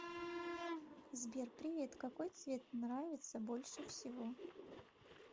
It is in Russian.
сбер привет какой цвет нравится больше всего